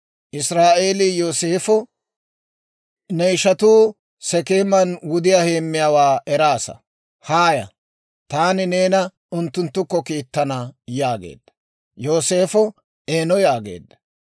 Israa'eelii Yooseefa, «Ne ishatuu Sekeeman wudiyaa heemiyaawaa eraasa. Haaya; taani neena unttunttukko kiittana» yaageedda. Yooseefo, «Eeno» yaageedda.